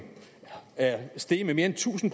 er steget med mere end tusind